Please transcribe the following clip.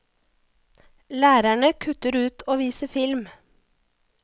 Lærerne kutter ut å vise film.